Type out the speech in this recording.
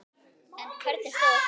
En hvernig stóð á því?